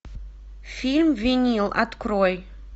фильм винил открой